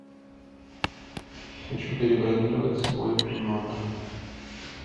хочу перебронировать свой номер